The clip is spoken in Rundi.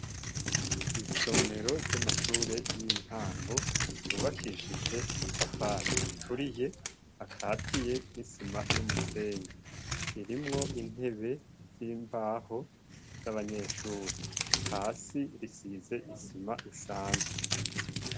Isomero ry'amashure y'intango ryubakishije amatafari aturiye akatiye n'isima n'umusenyi ririmwo intebe z'imbaho z'abanyeshuri hasi risize isima isanzwe.